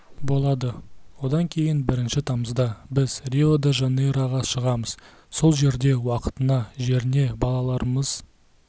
болады одан кейін бірінші тамызда біз рио де жанейроға шығамыз сол жерде уақытына жеріне балаларымыз